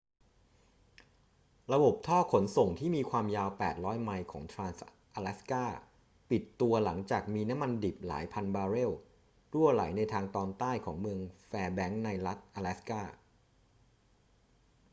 ระบบท่อขนส่งที่มีความยาว 800 ไมล์ของทรานส์-อะแลสกา ปิดตัวหลังจากมีน้ำมันดิบหลายพันบาร์เรลรั่วไหลในทางตอนใต้ของเมืองแฟร์แบงค์ในรัฐอะแลสกา